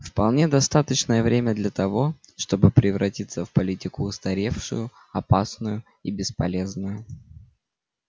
вполне достаточное время для того чтобы превратиться в политику устаревшую опасную и бесполезную